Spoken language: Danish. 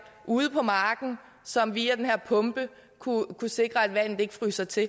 ude på marken som via den her pumpe kunne sikre at vandet ikke fryser til